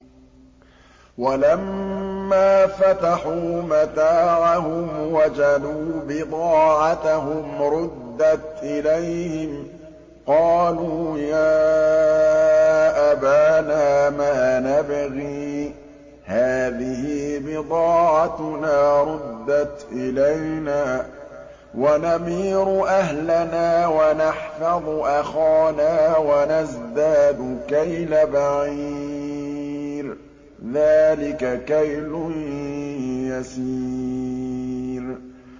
وَلَمَّا فَتَحُوا مَتَاعَهُمْ وَجَدُوا بِضَاعَتَهُمْ رُدَّتْ إِلَيْهِمْ ۖ قَالُوا يَا أَبَانَا مَا نَبْغِي ۖ هَٰذِهِ بِضَاعَتُنَا رُدَّتْ إِلَيْنَا ۖ وَنَمِيرُ أَهْلَنَا وَنَحْفَظُ أَخَانَا وَنَزْدَادُ كَيْلَ بَعِيرٍ ۖ ذَٰلِكَ كَيْلٌ يَسِيرٌ